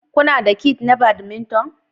Kuna da kiths na badminton?